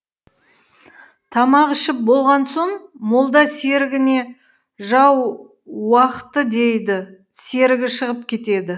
тамақ ішіп болған сон молда серігіне жау уақыты дейді серігі шығып кетеді